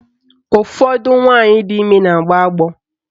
Ụfọdụ nwaanyị di ime na-agbọ agbọ.